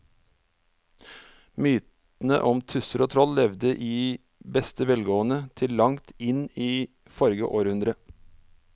Mytene om tusser og troll levde i beste velgående til langt inn i forrige århundre.